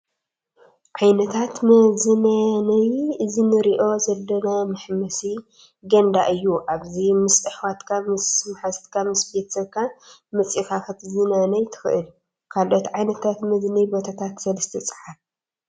ዓይነታት መዝናነይ እዚ እንሪኦ ዘለና መሕመሲ ገንዳ እዩ ኣብዚ ምስ ኣሕዋትካ፣ ምስ ሙሓዙትካ፣ ምስ ቤተሰብካ መፂካ ክትዝናነይ ትክእል። ካልኦት ዓይነታት መዝናይ ቦታታት ሰላስተ ፀሓፉ ?